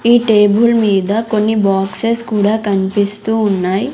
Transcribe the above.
ఈ టేబుల్ మీద కొన్ని బాక్సెస్ కూడా కనిపిస్తూ ఉన్నాయి.